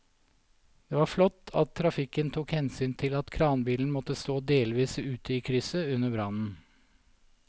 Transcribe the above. Det var flott at trafikken tok hensyn til at kranbilen måtte stå delvis ute i krysset under brannen.